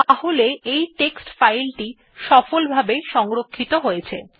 তাহলে আমাদের text file টি সফলভাবে সংরক্ষিত হয়েছে